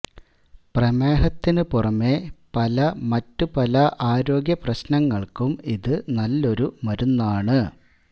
പ്രമേഹത്തിനു പുറമേ പല മറ്റു പല ആരോഗ്യപ്രശ്നങ്ങള്ക്കും ഇതു നല്ലൊരു മരുന്നാണ്